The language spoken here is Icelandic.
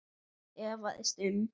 efaðist um